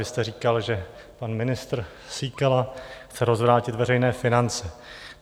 Vy jste říkal, že pan ministr Síkela chce rozvrátit veřejné finance.